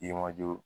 I ye